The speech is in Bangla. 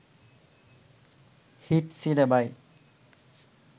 হিট সিনেমায়